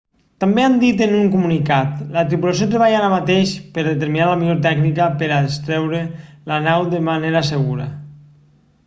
també han dit en un comunicat la tripulació treballa ara mateix per a determinar la millor tècnica per a extreure la nau de manera segura